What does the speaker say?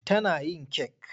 Tana yin kek.